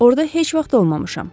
Orda heç vaxt olmamışam.